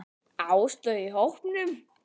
Áslaugu í hópnum.